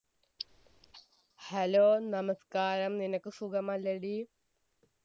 hello നമസ്ക്കാരം നിനക്ക് സുഖമല്ലെടി